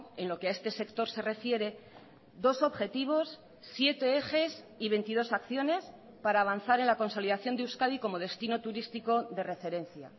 en lo que a este sector se refiere dos objetivos siete ejes y veintidós acciones para avanzar en la consolidación de euskadi como destino turístico de referencia